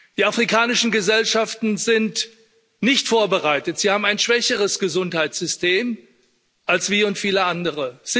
Die afrikanischen Gesellschaften sind nicht vorbereitet, Sie haben ein schwächeres Gesundheitssystem als wir und viele andere.